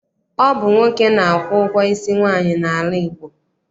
Ọ bụ nwoke na-akwụ ụgwọ isi nwaanyị n'ala Igbo.